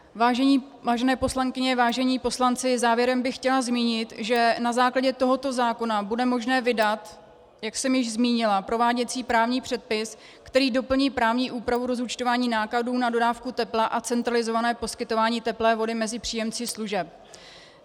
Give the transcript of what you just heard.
Vážené poslankyně, vážení poslanci, závěrem bych chtěla zmínit, že na základě tohoto zákona bude možné vydat, jak jsem již zmínila, prováděcí právní předpis, který doplní právní úpravu rozúčtování nákladů na dodávku tepla a centralizované poskytování teplé vody mezi příjemci služeb.